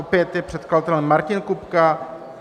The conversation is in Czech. Opět je předkladatelem Martin Kupka.